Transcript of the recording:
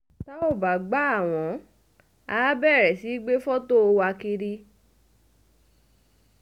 tá ò bá gbà á wọ́n àá bẹ̀rẹ̀ sí í gbé fọ́tò wa kiri